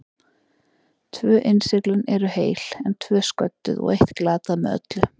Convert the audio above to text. Tvö innsiglin eru heil, en tvö sködduð og eitt glatað með öllu.